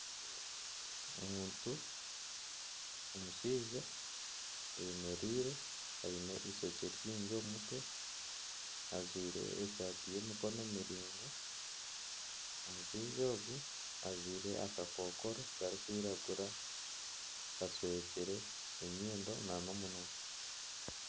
Omuntu omushaija ayemereire aine ishokye ringi omu mutwe ajwire esaati y'emikono miringwa. Omushaija ogu ajwire akakokoro karikwiragura kashwekire enyindo na nomunwa.